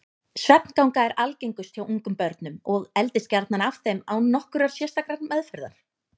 Svefnganga er algengust hjá ungum börnum og eldist gjarnan af þeim án nokkurrar sérstakrar meðferðar.